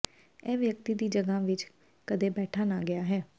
ਇਹ ਵਿਅਕਤੀ ਦੀ ਜਗ੍ਹਾ ਵਿੱਚ ਕਦੇ ਬੈਠੇ ਨਾ ਗਿਆ ਹੈ